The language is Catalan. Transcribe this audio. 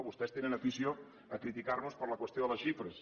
vostès tenen afició a criticar nos per la qüestió de les xifres